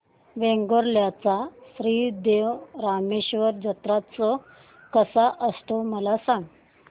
वेंगुर्ल्या चा श्री देव रामेश्वर जत्रौत्सव कसा असतो मला सांग